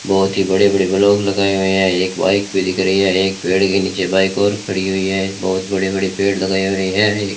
बहोत ही बड़े-बड़े ब्लॉक लगाए हुए है एक बाइक भी दिख रही है एक पेड़ के नीचे बाइक और खड़ी हुई है बहोत बड़ी-बड़ी पेड़ लगाए हुए है एक --